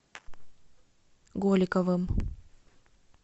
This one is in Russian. голиковым